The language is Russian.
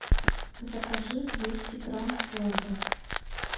закажи двести грамм творога